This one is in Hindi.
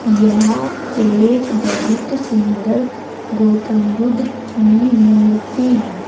यह एक बहुत सुंदर गौतम बुद्ध की मूर्ति है।